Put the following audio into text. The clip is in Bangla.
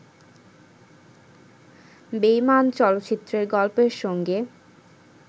বেঈমান' চলচ্চিত্রের গল্পের সঙ্গে